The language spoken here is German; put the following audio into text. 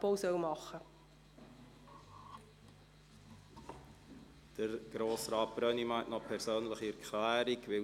Ich möchte eine Gruppe auf der Zuschauertribüne begrüssen: